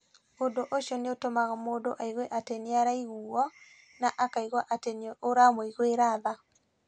Ũndũ ũcio nĩ ũtũmaga mũndũ aigue atĩ nĩ araiguwo, na akaigua atĩ nĩ ũramũiguĩra tha.